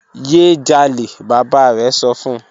Ye jale baba rẹ sọ fun